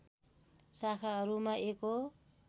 शाखाहरूमा एक हो